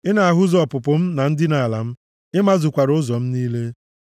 Ị na-ahụzu ọpụpụ m na ndina ala m; ị mazukwara ụzọ m niile.